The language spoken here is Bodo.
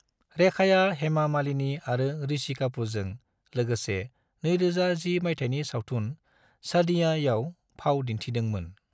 रेखाया हेमा मालिनी आरो ऋषि कपूरजों लोगोसे 2010 माइथायनि सावथुन 'सादियां' याव फाव दिनथिदों मोन ।